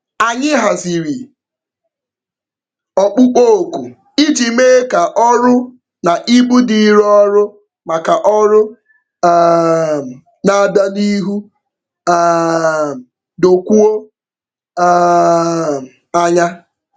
Anyị haziri ọkpụkpọoku iji mee ka ọrụ na ibu dịịrị ọrụ maka ọrụ um na-abịa n'ihu um dokwuo um anya.